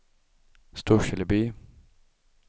Storseleby